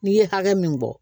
N'i ye hakɛ min bɔ